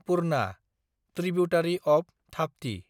Purna (tributary of Tapti)